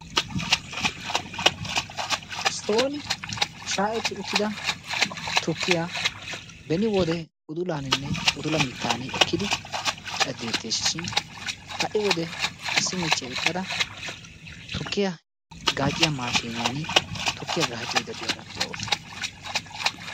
Sooni shayetti uttida tukkiya beni wode udulaaninne udula mittan ekkidi caddettees shin ha'i wode issi michchiya eqada tukkiya gaacciya maashiniyaan tukkiya gaaccaydda diyara de'awusu.